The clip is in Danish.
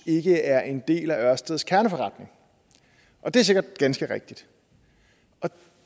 ikke er en del af ørsteds kerneforretning og det er sikkert ganske rigtigt og